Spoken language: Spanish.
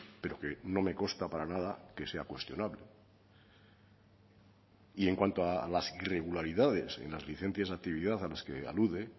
pero que no me consta para nada que sea cuestionable y en cuanto a las irregularidades en las licencias de actividad a las que alude